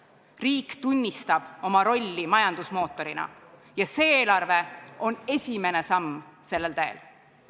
Riik tunnistab oma rolli majandusmootorina ja see eelarve on esimene samm sellel teel!